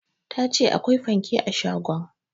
Ta ce akwai fanke a shagon